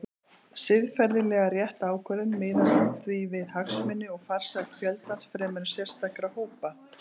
Siðferðilega rétt ákvörðun miðast því við hagsmuni og farsæld fjöldans fremur en sérstakra hópa.